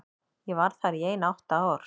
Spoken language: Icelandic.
Ég var þar í ein átta ár.